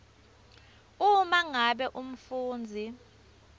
uma ngabe umfundzi